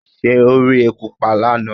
Ṣé o rí eku pa lánàá?